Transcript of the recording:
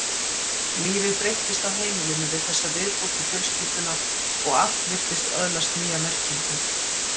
Lífið breyttist á heimilinu við þessa viðbót í fjölskylduna og allt virtist öðlast nýja merkingu.